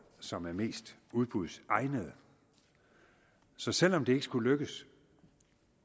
som er mest udbudsegnede så selv om det ikke skulle lykkes